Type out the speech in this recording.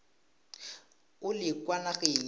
o le kwa nageng ya